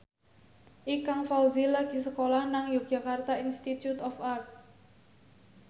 Ikang Fawzi lagi sekolah nang Yogyakarta Institute of Art